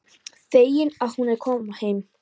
Fegin að hún er að koma heim.